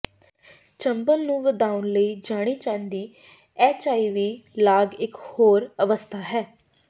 ਚੰਬਲ ਨੂੰ ਵਧਾਉਣ ਲਈ ਜਾਣੀ ਜਾਂਦੀ ਐਚਆਈਵੀ ਲਾਗ ਇੱਕ ਹੋਰ ਅਵਸਥਾ ਹੈ